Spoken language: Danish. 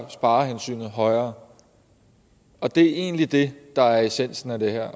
sparehensynet højere det er egentlig det der er essensen af det her